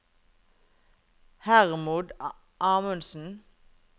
Hermod Amundsen